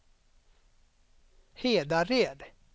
Hedared